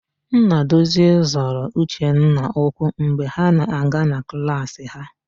Nnadozie zọrọ Uchenna ụkwụ mgbe ha na-aga na klaasị ha.